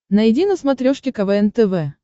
найди на смотрешке квн тв